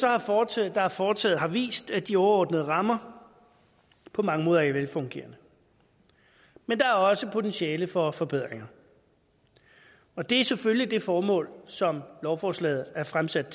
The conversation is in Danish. er foretaget har foretaget har vist at de overordnede rammer på mange måder er velfungerende men der er også potentiale for forbedringer og det er selvfølgelig det formål som lovforslaget er fremsat